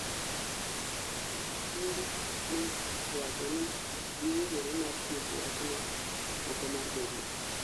Okinde ne owacho ni giwinjore mar tieko wachno oko mar doho